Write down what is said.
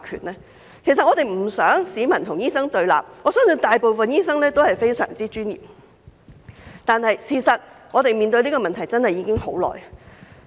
我們不想市民與醫生對立，我相信大部分醫生都非常專業，但我們面對這個問題真的已經很久了。